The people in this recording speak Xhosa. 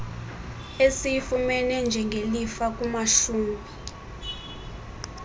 esiyifumene njengelifa kumashumi